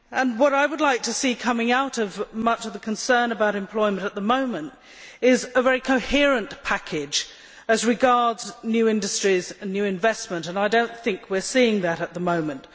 What I would like to see coming out of much of the concern about employment at the moment is a very coherent package as regards new industries and new investment. We are not seeing this at the moment.